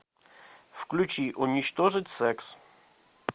включи уничтожить секс